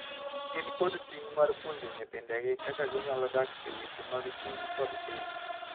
Gin kod ting’ mar puonjo nyithindegi kaka ginyalo dak e weche mag chuny kod timbe.